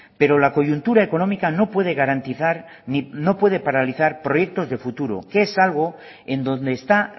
pero la coyuntura económica no puede paralizar proyectos de futuro que es algo en donde está